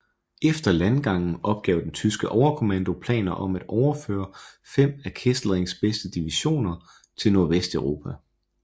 Efter landgangen opgav den tyske overkommando planer om at overføre fem af Kesselrings bedste divisioner til Nordvesteuropa